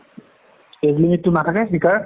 age limit টো নাথাকে শিকাৰ?